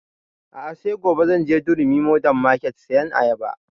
A'a sai gobe zan je durumi modern market sayan ayaba